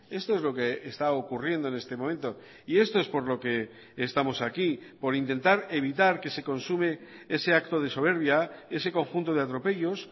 esto es lo que está ocurriendo en este momento y esto es por lo que estamos aquí por intentar evitar que se consume ese acto de soberbia ese conjunto de atropellos